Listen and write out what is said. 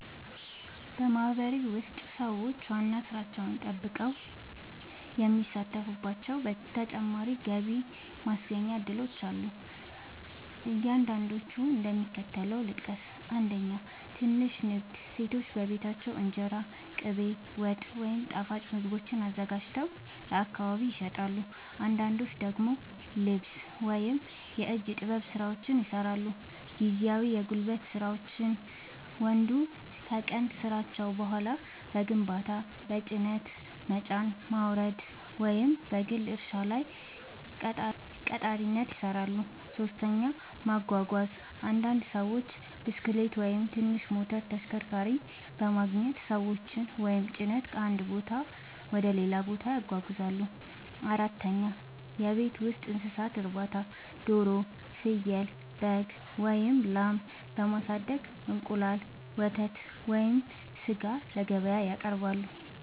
በማህበረሰቤ ውስጥ ሰዎች ዋና ሥራቸውን ጠብቀው የሚሳተፉባቸው ተጨማሪ የገቢ ማስገኛ እድሎች አሉ። አንዳንዶቹን እንደሚከተለው ልጠቅስ፦ 1. ትንሽ ንግድ – ሴቶች በቤታቸው እንጀራ፣ ቅቤ፣ ወጥ ወይም ጣፋጭ ምግቦችን አዘጋጅተው ለአካባቢ ይሸጣሉ። አንዳንዶች ደግሞ ልብስ ወይም የእጅ ጥበብ ሥራዎችን ይሠራሉ። 2. ጊዜያዊ የጉልበት ሥራ – ወንዶች ከቀን ሥራቸው በኋላ በግንባታ፣ በጭነት መጫንና ማውረድ፣ ወይም በግል እርሻ ላይ ቀጣሪነት ይሠራሉ። 3. ማጓጓዝ – አንዳንድ ሰዎች ብስክሌት ወይም ትንሽ ሞተር ተሽከርካሪ በማግኘት ሰዎችን ወይም ጭነት ከአንድ ቦታ ወደ ሌላ ያጓጉዛሉ። 4. የቤት ውስጥ እንስሳት እርባታ – ዶሮ፣ ፍየል፣ በግ ወይም ላም በማሳደግ እንቁላል፣ ወተት ወይም ሥጋ ለገበያ ያቀርባሉ።